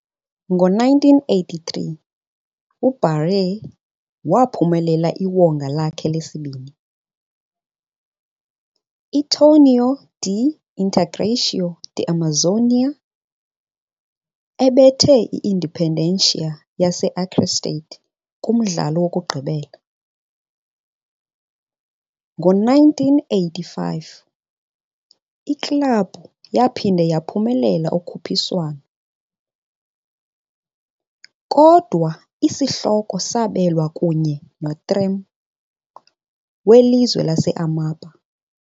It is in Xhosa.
Ngo-1983, uBaré waphumelela iwonga lakhe lesibini, iTorneio de Integração da Amazônia, ebetha i-Independência yase-Acre state kumdlalo wokugqibela. Ngo-1985, iklabhu yaphinda yaphumelela ukhuphiswano, kodwa isihloko sabelwa kunye noTrem, welizwe lase-Amapá.